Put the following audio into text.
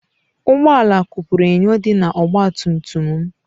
Ụgbọ ala kụpuru enyo dị na ọgba tum tum m.